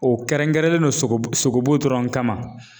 O kɛrɛnkɛrɛnnen don sogobu sogobu dɔrɔn kama.